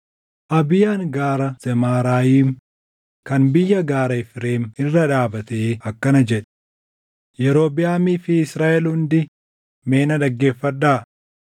Abiyaan Gaara Zemaaraayim kan biyya gaaraa Efreem irra dhaabatee akkana jedhe; “Yerobiʼaamii fi Israaʼel hundi mee na dhaggeeffadhaa!